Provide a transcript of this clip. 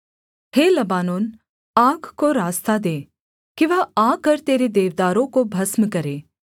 हे Lebanon आग को रास्ता दे कि वह आकर तेरे देवदारों को भस्म करे